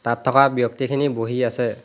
তাত থকা ব্যক্তিখিনি বহি আছে।